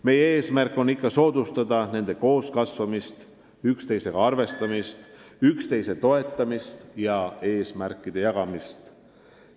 Meie eesmärk on ikka soodustada nende koos kasvamist, üksteisega arvestamist, üksteise toetamist ja eesmärkide jagamist.